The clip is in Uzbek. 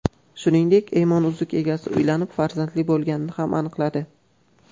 Shuningdek, Eymon uzuk egasi uylanib, farzandli bo‘lganini ham aniqladi.